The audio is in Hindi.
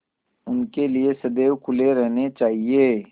उनके लिए सदैव खुले रहने चाहिए